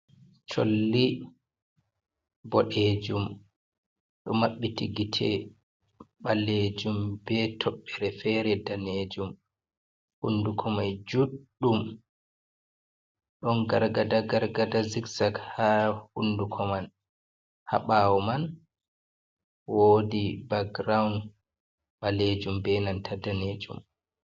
Cholli boɗejum, Ɗo maɓɓiti gite ɓalejum be toɓɓere fere danejum, Hunduko mai juɗɗum ɗon gargada gargada zikzak ha hunduko man, Ha ɓawo man wodi baground ɓalejum be nanta danejum.